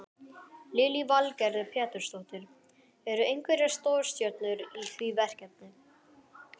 Lillý Valgerður Pétursdóttir: Eru einhverjar stórstjörnur í því verkefni?